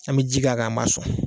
An bɛ ji k'a kan an b'a sɔn.